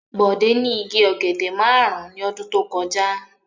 Bọ̀dé ní igi ọ̀gẹ̀dẹ̀ márùn-ún ọdún tó kọjá.